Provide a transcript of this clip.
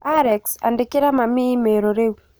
Alex, Andĩkĩra mami i-mīrū rĩu